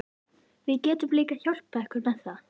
Við getum líka hjálpað ykkur með það